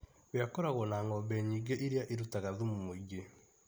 We akoragwo na ng'ombe nyingĩ iria irutaga thumu mũingĩ.